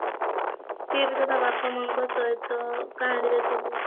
ସିଏ ବି ତ ତା ବାପା ମାଙ୍କ ସହିତ ସବୁ